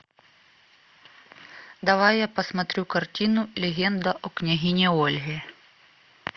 давай я посмотрю картину легенда о княгине ольге